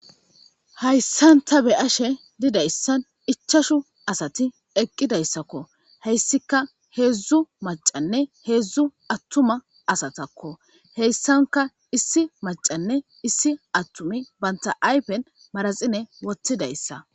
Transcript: Hayssanta be ashe didayssan ichashu asati eqqidayssakko heyssika heedzdzu macanne heedzdzu attuma asatakko heyssanka issi macanne issi attumi banta aypen maraxine wottidayssa.